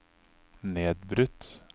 nedbrutt